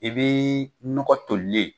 I bɛ nɔgɔ tolilen,